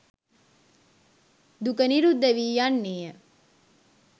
දුක නිරුද්ධ වී යන්නේ ය.